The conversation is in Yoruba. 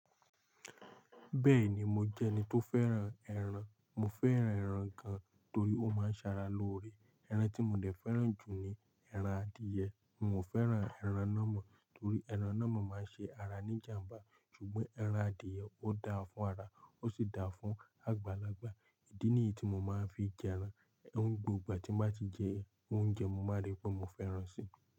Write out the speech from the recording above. Bẹ́ẹ̀ni mo jẹ́ ẹni tó fẹ́ràn ẹran, mo fẹ́ràn ẹran gan torí ó máa ń ṣara lóore. Ẹran tí mo dẹ̀ fẹ́ràn jù ni ẹran adìẹ, mi ò fẹ́ràn ẹran nàmon torí ẹran nàmon máa ń ṣe ara ní jàmbá. Ṣùgbọ́n ẹran adìẹ ó dáa fún ara, ó sì dáa fún àgbàlagbà. Idí nìyí tí mo máa ń fi jẹ ẹran, gbogbo ìgbà tí máa ti jẹ oúnjẹ, mo máa rí pé mo fẹ́ràn si.